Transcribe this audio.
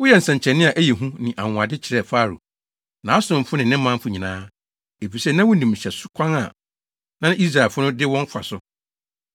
Woyɛɛ nsɛnkyerɛnne a ɛyɛ hu ne anwonwade kyerɛɛ Farao, nʼasomfo ne ne manfo nyinaa, efisɛ na wunim nhyɛso kwan a na Misraimfo no de wɔn fa so.